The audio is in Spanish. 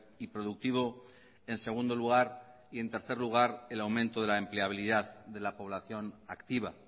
y productivo en segundo lugar y en tercer lugar el aumento de la empleabilidad de la población activa